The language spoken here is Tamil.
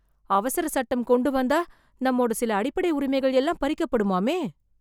அவசர சட்டம் கொண்டு வந்தா , நம்மோட சில அடிப்படை உரிமைகள் எல்லாம் பறிக்கப்படுமாமே.